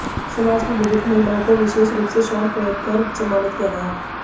समाज की बुजुर्ग महिलाओं को विशेष रूप से शॉल भेंट कर सम्मानित किया गया